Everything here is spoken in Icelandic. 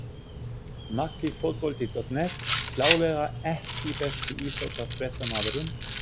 Maggi Fótbolti.net klárlega EKKI besti íþróttafréttamaðurinn?